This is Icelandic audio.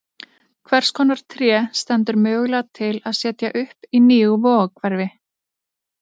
Hvers konar tré stendur mögulega til að setja upp í nýju Vogahverfi?